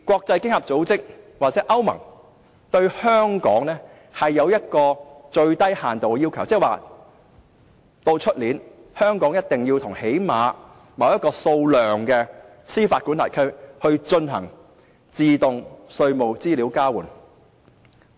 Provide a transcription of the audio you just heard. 經合組織或歐盟對香港亦有一個最低要求，即明年香港一定要與最少某個數目的司法管轄區進行自動稅務資料交換。